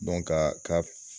ka ka